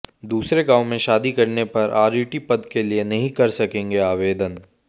दूसरे गांव में शादी करने पर आरईटी पद के लिए नहीं कर सकेंगे आवेदन